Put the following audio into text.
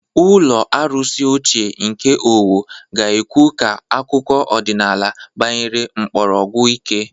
Ụlọ arụsị ochie nke Owo ga-ekwu ka akụkọ ọdịnala gbanyere mkpọrọgwụ ike.